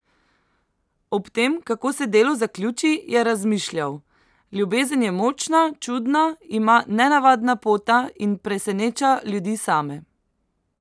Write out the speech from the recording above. Ob tem, kako se delo zaključi, je razmišljal: "Ljubezen je močna, čudna, ima nenavadna pota in preseneča ljudi same.